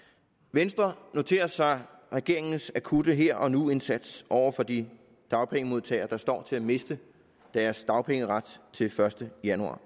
venstre noterer sig regeringens akutte her og nu indsats over for de dagpengemodtagere der står til at miste deres dagpengeret den første januar